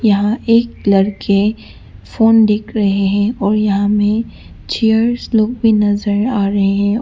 यहाँ एक लड़के फोन देख रहे हैं और यहां में चेयर्स लोग भी नजर आ रहे हैं औ--